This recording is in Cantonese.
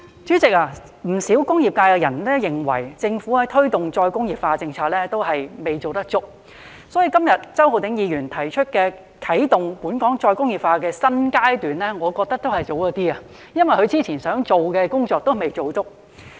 主席，不少工業界人士認為，政府推動的再工業化政策仍有所不足，所以周浩鼎議員今天提出"啟動本港再工業化發展的新階段"議案，我認為還是有點早，因為當局之前想做的工作仍未做足。